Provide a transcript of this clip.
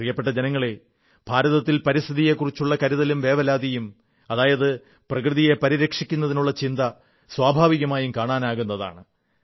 പ്രിയപ്പെട്ട ജനങ്ങളേ ഭാരതത്തിൽ പരിസ്ഥിതിയെക്കുറിച്ചുള്ള കരുതലും വേവലാതിയും അതായത് പ്രകൃതിയെ പരിരക്ഷിക്കാനുള്ള ചിന്ത സ്വാഭാവികമായും കാണാനാകുന്നതാണ്